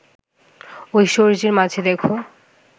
ঐশ্বর্যের মাঝে দেখ